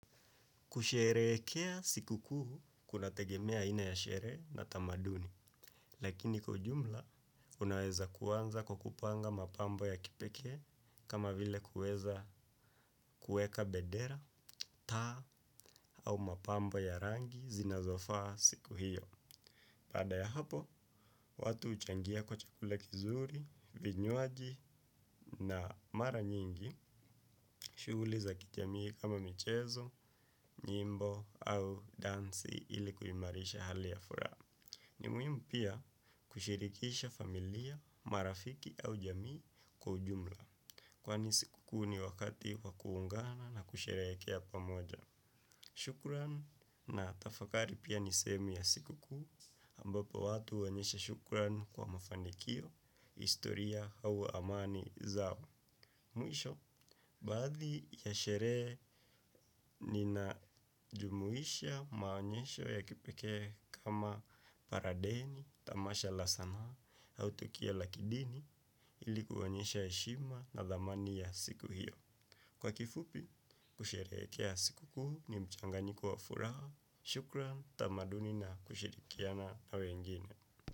Kusherehekea shikuku kunategemea aina ya sherehd na tamaduni, lakini kwa ujumla unaweza kuanza kwa kupanga mapambo ya kipeke kama vile kuweza kuweka bendera taa au mapambo ya rangi zinazofaa siku hiyo. Baada ya hapo, watu huchangia kwa chakula kizuri, vinywaji na mara nyingi, shughuli za kijamii kama michezo, nyimbo au dansi ili kuimarisha hali ya furaha. Ni muhimu pia kushirikisha familia, marafiki au jamii kwa ujumla. Kwani shikuku ni wakati wa kuungana na kusherehekea pamoja. Shukuran na tafakari pia ni semi ya shikukuu, ambapo watu huonyesha shukurani kwa mafanikio, historia au amani zao. Mwisho, baadhi ya sherehe nina jumuhisha maonyesho ya kipeke kama paradeni, tamasha la sanaa, au tokio la kidini, ili ku onyesha heshima na dhamani ya siku hiyo. Kwa kifupi, kushereheke ya shikuku ni mchanganyiko wa furaha. Shukrani tamaduni na kushirikiana na wengine.